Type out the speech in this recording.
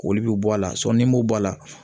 Olu bɛ bɔ a la ni m'o bɔ a la